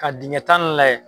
Ka dingɛ tan ni